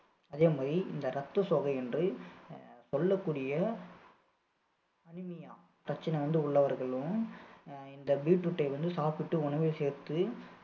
அதே மாதிரி இந்த ரத்த சோகை என்று அஹ் சொல்லக்கூடிய anemia பிரச்சனை வந்து உள்ளவர்களும் அஹ் இந்த beetroot ஐ வந்து சாப்பிட்டு உணவில் சேர்த்து